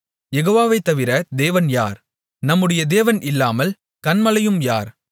யெகோவாவை தவிர தேவன் யார் நம்முடைய தேவன் இல்லாமல் கன்மலையும் யார்